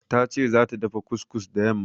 Ta ce zata dafa kus-kus da yamma.